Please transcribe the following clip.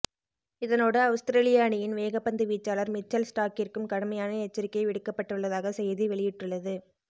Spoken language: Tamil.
இதனோடு அவுஸ்திரேலிய அணியின் வேக பந்து வீச்சாளர் மிச்சல் ஸ்டாக்கிற்கும் கடுமையான எச்சரிக்கை விடுக்கப்பட்டுள்ளதாக செய்தி வெளியிட்டுள்ளது